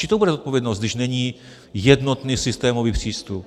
Čí to bude zodpovědnost, když není jednotný systémový přístup?